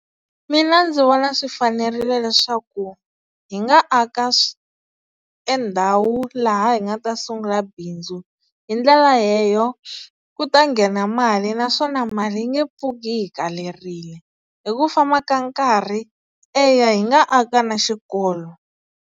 Mina ndzi vona swi fanerile leswaku hi nga aka e ndhawu laha hi nga ta sungula bindzu hi ndlela leyo ku ta nghena mali naswona mali yi nge pfuki yi hi kalerile, hi ku famba ka nkarhi, eya hi nga aka na xikolo.